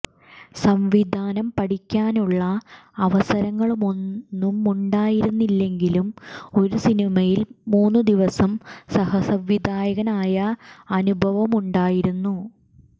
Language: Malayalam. സംവിധാനം പഠിക്കാനുള്ള അവസരങ്ങളൊന്നുമുണ്ടായിരുന്നില്ലെങ്കിലും ഒരു സിനിമയിൽ മൂന്നു ദിവസം സഹസംവിധായകനായ അനുഭവമുണ്ടായിരുന്നു